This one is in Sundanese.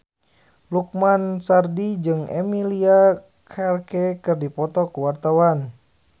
Lukman Sardi jeung Emilia Clarke keur dipoto ku wartawan